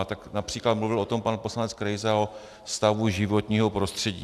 A tak například mluvil o tom pan poslanec Krejza, o stavu životního prostředí.